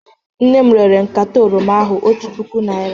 Nne m rere nkata oroma ahụ otu puku naira